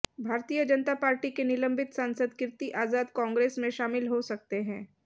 भारतीय जनता पार्टी के निलंबित सांसद कीर्ति आजाद कांग्रेस में शामिल हो सकते हैं